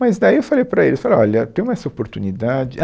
Mas daí eu falei para ele, eu falei, olha, temos essa oportunidade. Ah,